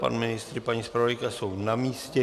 Pan ministr i paní zpravodajka jsou na místě.